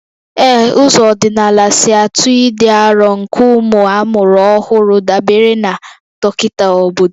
Ee, ụzọ ọdịnala si atụ ịdị arọ nke ụmụ amụrụ ọhụrụ dabere na dọkịta obodo